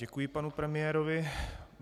Děkuji panu premiérovi.